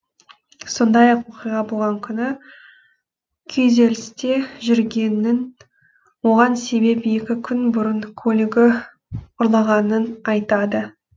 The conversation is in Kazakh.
сондай ақ оқиға болған күні күйзелісте жүргенін оған себеп екі күн бұрын көлігі ұрлағанын айтады